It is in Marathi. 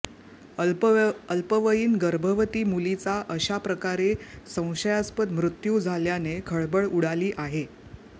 अल्पवयीन गर्भवती मुलीचा अशाप्रकारे संशयास्पद मृत्यू झाल्याने खळबळ उडाली आहे